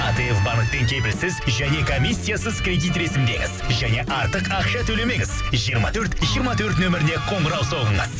атф банктен кепілсіз және комиссиясыз кредит ресімдеңіз және артық ақша төлемеңіз жиырма төрт жиырма төрт нөміріне қоңырау соғыңыз